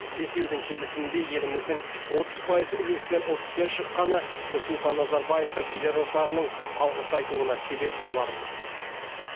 бесеудің келісімінде еліміздің отыз пайыз үлес ұтыспен шыққаны нұрсұлтан назарбаевқа келер ұрпағының алғыс айтуына себеп боларлық